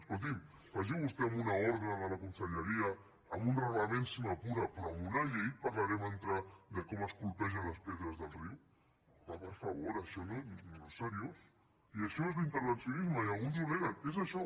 escolti’m vagi vostè amb una ordre de la conselleria amb un reglament si m’apura però amb una llei parlarem de com es colpegen les pedres del riu home per favor això no és seriós i això és l’intervencionisme i alguns ho neguen és això